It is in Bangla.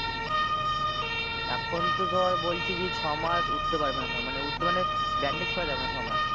এখন তো ধর বলছে যে ছয় মাস উঠতে পারবে না ধর মানে উঠতে মানে bandage খোলা যাবে না ছয় মাস।